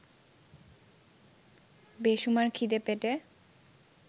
বেসুমার খিদে পেটে